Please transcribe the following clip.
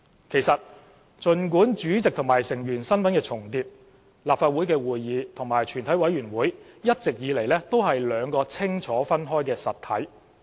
其實，儘管主席和成員的身份重疊，立法會會議和全委會一直以來也是清楚分開的實體。